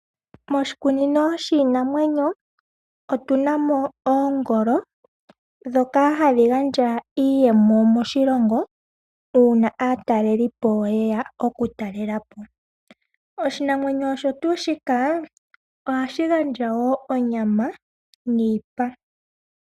Moshikunino shiinamwenyo otunamo oongolo ndhoka hadhi gandja iiyemo moshilongo uuna aatalelipo yeya oku talelapo. Oshinamwenyo osho tuu shika ohadhi gandja wo onyama niipa.